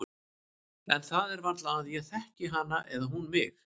En það er varla að ég þekki hana eða hún mig.